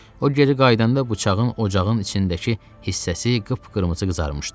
O geri qayıdanda bıçağın ocağın içindəki hissəsi qıpqırmızı qızarmışdı.